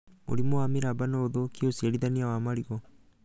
Mũrimũ wa mĩramba no ũthũkie ũciarithania wa marigũ